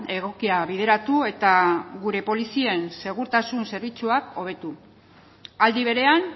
egokia bideratu eta gure polizien segurtasun zerbitzuak hobetu aldi berean